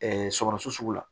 sɔgɔsɔgɔ la